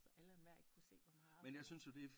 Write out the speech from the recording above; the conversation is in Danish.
Så alle og enhver ikke kunne se hvor meget affald